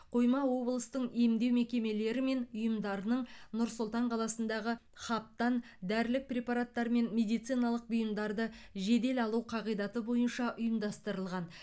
қойма облыстың емдеу мекемелері мен ұйымдарының нұр сұлтан қаласындағы хабтан дәрілік препараттар мен медициналық бұйымдарды жедел алу қағидаты бойынша ұйымдастырылған